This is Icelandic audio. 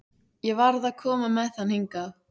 Ég varð að koma með hann hingað.